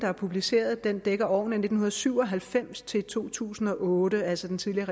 er publiceret dækker årene nitten syv og halvfems til to tusind og otte altså den tidligere